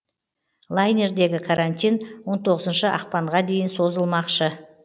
лайнердегі карантин он тоғызыншы ақпанға дейін созылмақшы